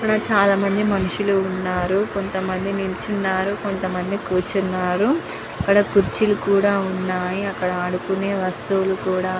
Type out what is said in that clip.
ఇక్కడ చాల మంది మనుషుల్లు వున్నారు కొంత మంది కురుచునారు కొంత మంది నిలుచునారు అక్కడ కురుచి లు కూడా వున్నాయ్ అక్కడ ఆడుకునే వస్తువులు--